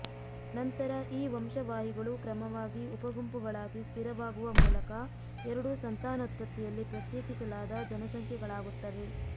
ನಂತರ ಈ ವಂಶವಾಹಿಗಳು ಕ್ರಮವಾಗಿ ಉಪಗುಂಪುಗಳಿಗೆ ಸ್ಥಿರವಾಗುವ ಮೂಲಕ ಎರಡು ಸಂತಾನೋತ್ಪತ್ತಿಯಲ್ಲಿ ಪ್ರತ್ಯೇಕಿಸಲಾದ ಜನಸಂಖ್ಯೆಗಳಾಗುತ್ತವೆ